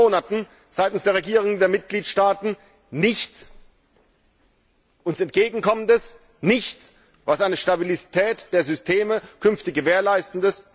Und seit 7 Monaten kommt seitens der Regierungen der Mitgliedstaaten nichts, das uns entgegenkommt, nichts, was eine Stabilität der Systeme künftig gewährleistet.